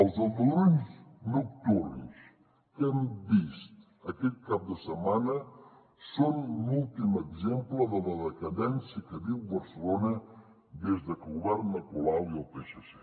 els aldarulls nocturns que hem vist aquest cap de setmana són l’últim exemple de la decadència que viu barcelona des que governen colau i el psc